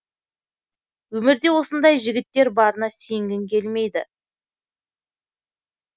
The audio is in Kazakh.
өмірде осындай жігіттер барына сенгің келмейді